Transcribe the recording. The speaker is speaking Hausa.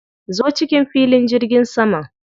Zo cikin filin jirgin saman.